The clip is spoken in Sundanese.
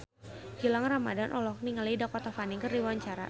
Gilang Ramadan olohok ningali Dakota Fanning keur diwawancara